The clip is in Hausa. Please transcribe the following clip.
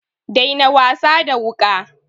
Daina wasa da wuƙa!